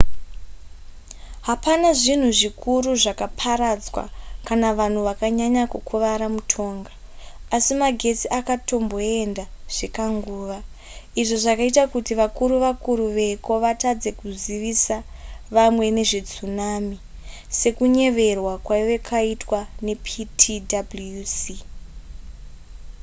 hapana zvinhu zvikuru zvakaparadzwa kana vanhu vakanyanya kukuvara mutonga asi magetsi akatomboenda zvekanguva izvo zvakaita kuti vakuru vakuru veko vatadze kuzivisa vamwe nezvetsunami sekunyeverwa kwainge kwaitwa neptwc